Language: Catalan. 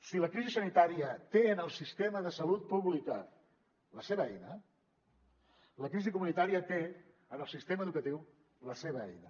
si la crisi sanitària té en el sistema de salut pública la seva eina la crisi comunitària té en el sistema educatiu la seva eina